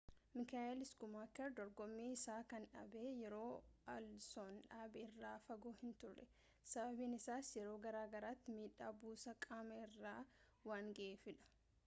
michael schumacher dorgommii isaa kan dhaabe yeroo alonson dhaabe irraa fagoo hin turre, sababiin isaas yeroo garaagaraatti miidhaa buusaa qaama isaa irra waan ga’eefiidha